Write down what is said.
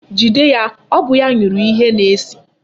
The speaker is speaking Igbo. Jide ya, ọ bụ ya nyụrụ ihe na-esi!